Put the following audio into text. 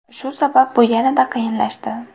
Shu sabab, bu yanada qiyinlashdi.